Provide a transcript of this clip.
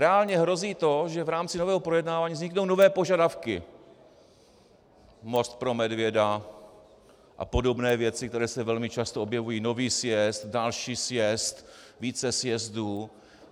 Reálně hrozí to, že v rámci nového projednávání vzniknou nové požadavky, most pro medvěda a podobné věci, které se velmi často objevují, nový sjezd, další sjezd více sjezdů.